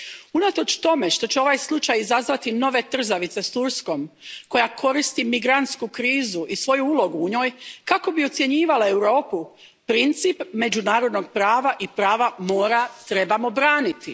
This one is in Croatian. Unatoč tome što će ovaj slučaj izazvati nove trzavice s Turskom, koja koristi migrantsku krizu i svoju ulogu u njoj kako bi ucjenjivala Europu, princip međunarodnog prava i prava mora trebamo braniti.